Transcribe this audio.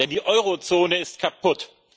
Denn die Eurozone ist kaputt.